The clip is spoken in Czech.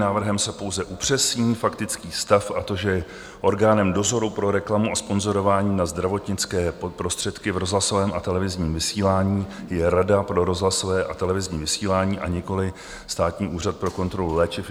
Návrhem se pouze upřesní faktický stav, a to že orgánem dozoru pro reklamu a sponzorování na zdravotnické prostředky v rozhlasovém a televizní vysílání je Rada pro rozhlasové a televizní vysílání a nikoliv Státní úřad pro kontrolu léčiv.